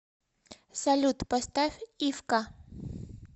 салют поставь ивка